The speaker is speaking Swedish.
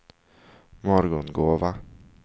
Morgongåva